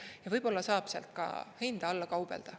Ja võib-olla saab sealt ka hinda alla kaubelda.